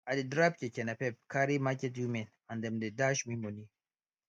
i dey drive keke napep carry market women and them dey dash me money